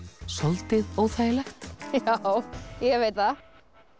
soldið óþægilegt já ég veit það